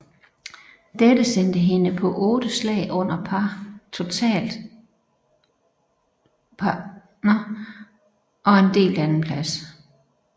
Dette sendte hende på 8 slag under par totalt og en delt andenplads